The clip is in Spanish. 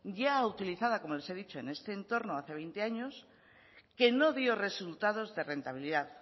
ya utilizada como les he dicho en este entorno hace veinte años que no dio resultados de rentabilidad